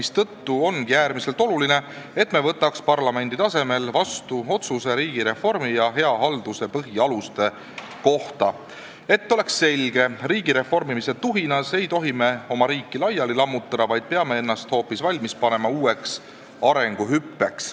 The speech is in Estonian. Seetõttu ongi äärmiselt oluline, et me võtaks parlamendi tasemel vastu otsuse riigireformi ja hea halduse põhialuste kohta, et oleks selge: riigi reformimise tuhinas ei tohi me oma riiki laiali lammutada, vaid peame ennast valmis panema uueks arenguhüppeks.